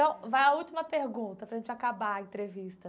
Vai a última pergunta para gente acabar a entrevista.